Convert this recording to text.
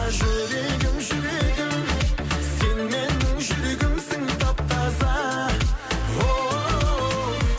жүрегім жүрегім сен менің жүрегімсің тап таза оу